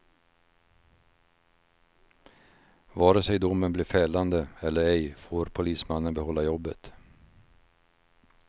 Vare sig domen blir fällande eller ej får polismannen behålla jobbet.